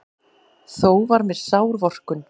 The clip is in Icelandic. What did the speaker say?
Þó var mér sár vorkunn.